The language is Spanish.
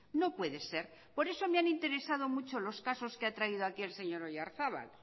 no puede ser por eso me han interesado mucho los casos que ha traído aquí el señor oyarzabal